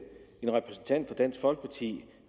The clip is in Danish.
en repræsentant for dansk folkeparti